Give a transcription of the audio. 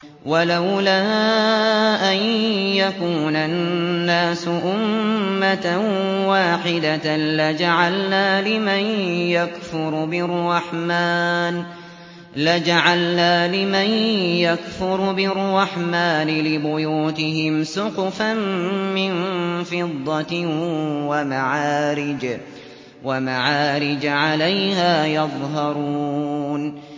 وَلَوْلَا أَن يَكُونَ النَّاسُ أُمَّةً وَاحِدَةً لَّجَعَلْنَا لِمَن يَكْفُرُ بِالرَّحْمَٰنِ لِبُيُوتِهِمْ سُقُفًا مِّن فِضَّةٍ وَمَعَارِجَ عَلَيْهَا يَظْهَرُونَ